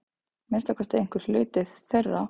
Minnsta kosti einhver hluti þeirra.